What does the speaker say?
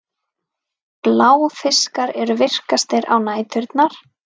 Bláfiskar eru virkastir á næturnar.